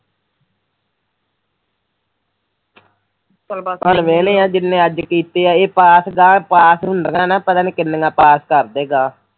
ਚਲ ਬਸ ਹੁਣ ਵਿਹਲੇ ਐ ਜਿੰਨੇ ਅੱਜ ਕੀਤੀਆਂ ਏ ਪਾਸ ਗਾਹ ਪਾਸ ਹੁੰਦੀਆਂ ਪਤਾ ਨੀ ਕਿੰਨੀਆਂ ਪਾਸ ਕਰਦੇ ਗਾਹ